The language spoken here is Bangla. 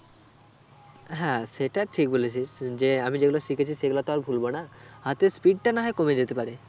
হ্যাঁ সেটা ঠিক বলেছিস যে আমি যেগুলো শিখেছি সেগুলো তো আর ভুলবো না হাতের speed টা না হয় কমে যেতে পারে